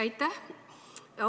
Aitäh!